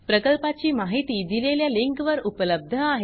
प्रकल्पाची माहिती दिलेल्या लिंकवर उपलब्ध आहे